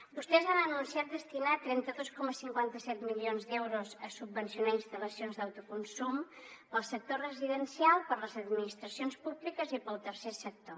vostès han anunciat destinar trenta dos coma cinquanta set milions d’euros a subvencionar instal·lacions d’autoconsum per al sector residencial per a les administracions públiques i per al tercer sector